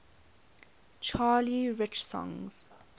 charlie rich songs